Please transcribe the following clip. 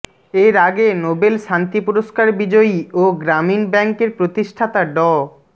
এর আগে নোবেল শান্তি পুরস্কার বিজয়ী ও গ্রামীণ ব্যাংকের প্রতিষ্ঠাতা ড